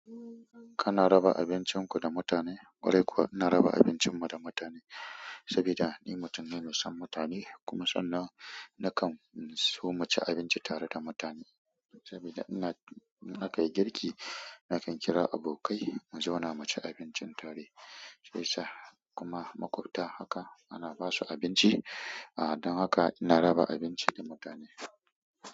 Kana raba abincin ku da mutane? Ƙwarai kuwa ina raba abincin mu da mutane saboda ni mutum ne mai son mutane kuma sannan nakan so mu ci abinci tare da mutane saboda ina, nakan yi girki, nakan kira abokai mu zo na mu ci abincin tare, sai sa'ad kuma maƙwabta haka ana basu abinci. Don haka ina raba abinci da mutane.